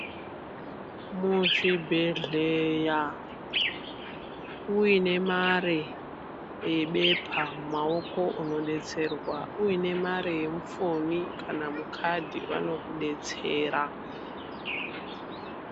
Muzvibhedhleya uine mare yebepa mumaoko unodetserwa uine mare yemufoni kana mukadi vanokudetsera.